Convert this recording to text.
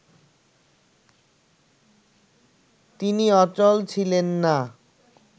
তিনি অচল ছিলেন না